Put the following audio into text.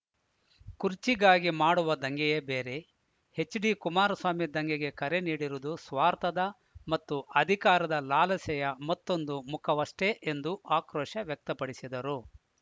ಕುರ್ಚಿಗಾಗಿ ಮಾಡುವ ದಂಗೆಯೇ ಬೇರೆ ಎಚ್‌ಡಿಕುಮಾರಸ್ವಾಮಿ ದಂಗೆಗೆ ಕರೆ ನೀಡಿರುವುದು ಸ್ವಾರ್ಥದ ಮತ್ತು ಅಧಿಕಾರದ ಲಾಲಸೆಯ ಮತ್ತೊಂದು ಮುಖವಷ್ಟೆಎಂದು ಆಕ್ರೋಶ ವ್ಯಕ್ತಪಡಿಸಿದರು